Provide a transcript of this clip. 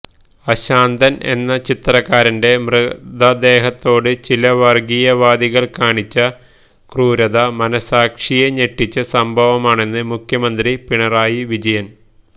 അശാന്തൻ എന്ന ചിത്രകാരന്റെ മൃതദേഹത്തോട് ചില വർഗീയവാദികൾ കാണിച്ച ക്രൂരത മനസ്സാക്ഷിയെ ഞെട്ടിച്ച സംഭവമാണെന്ന് മുഖ്യമന്ത്രി പിണറായി വിജയന്